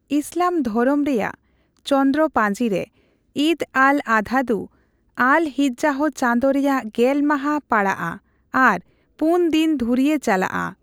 ᱤᱥᱞᱟᱢ ᱫᱷᱚᱨᱚᱢ ᱨᱮᱭᱟᱜ ᱪᱚᱱᱫᱨᱚ ᱯᱟ:ᱡᱤᱨᱮ, ᱤᱫ ᱟᱞᱼᱟᱫᱷᱟ ᱫᱷᱩ ᱟᱞᱼᱦᱤᱡᱡᱟᱦᱚ ᱪᱟᱸᱫᱳ ᱨᱮᱭᱟᱜ ᱜᱮᱞ ᱢᱟᱦᱟ ᱯᱟᱲᱟᱜᱼᱟ ᱟᱨ ᱯᱩᱱ ᱫᱤᱱ ᱫᱷᱩᱨᱭᱟᱹ ᱪᱟᱞᱟᱜᱼᱟ ᱾